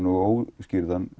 og óútskýrðan